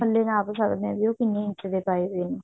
ਪੱਲੇ ਨਾਪ ਸਕਦੇ ਹਾਂ ਵੀ ਉਹ ਕਿੰਨੇ ਇੰਚ ਦੇ ਪਾਏ ਹੋਏ ਨੇ